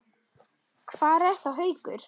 Hvar er þá Haukur?